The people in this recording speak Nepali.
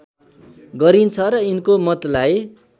गरिन्छ र यिनको मतलाई